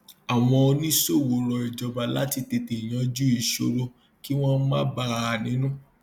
àwọn oníṣòwò rọ ìjọba láti tètè yanjú ìṣòro kí wọn má bà a nínú